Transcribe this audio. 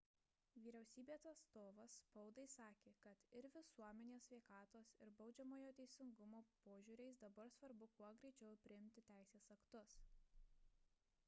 vyriausybės atstovas spaudai sakė kad ir visuomenės sveikatos ir baudžiamojo teisingumo požiūriais dabar svarbu kuo greičiau priimti teisės aktus